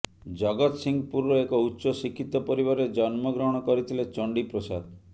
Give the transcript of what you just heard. ଜଗତସିଂହପୁରର ଏକ ଉଚ୍ଚ ଶିକ୍ଷିତ ପରିବାରରେ ଜନ୍ମ ଗ୍ରହଣ କରିଥିଲେ ଚଣ୍ଡି ପ୍ରସାଦ